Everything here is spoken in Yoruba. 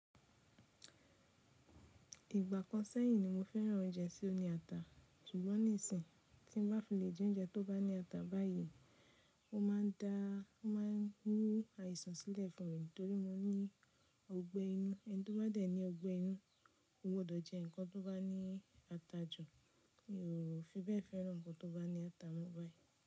Ìgbà kan sẹ́yìn ni mo fẹ́ran oúnjẹ tí ó ní ata, ṣùgbọ́n nísìnyí tí mo bá fi lè jẹ oúnjẹ tó bá ní ata báyìí, ó máa ń dá, ó máa ń mú àìsàn sílẹ̀ fún mi torí mo ní ọgbẹ́ inú. Ẹni tó bá dẹ̀ ní ọgbẹ́ inú, kò gbòdọ̀ jẹ́ ǹkan tó bá ní ata jù, mi ò fi bẹ́ẹ̀ fẹ́ran nǹkan tó bá ní ata mọ́ báyìí.